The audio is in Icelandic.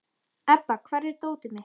Ebba, hvar er dótið mitt?